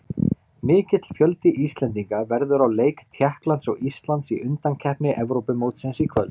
Mikill fjöldi Íslendinga verður á leik Tékklands og Íslands í undankeppni Evrópumótsins í kvöld.